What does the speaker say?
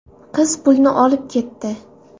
Qiz pulni olib ketdi.